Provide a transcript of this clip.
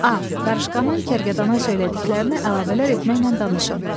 A. Qarışqanın kərkədana söylədiklərinə əlavələr etməklə danışın.